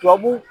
Tubabu